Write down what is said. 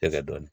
E ka dɔni